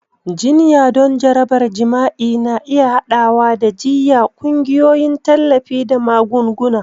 Jinya don jarabar jima'i na iya haɗawa da jiyya, ƙungiyoyin tallafi, da magunguna.